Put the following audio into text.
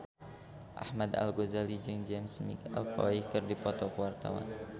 Ahmad Al-Ghazali jeung James McAvoy keur dipoto ku wartawan